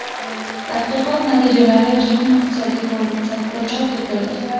Tadqiqot natijalari Jahon iqtisodiy forumi saytida chop etildi .